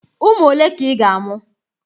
Ụmụ ole ka ị ga-amụ?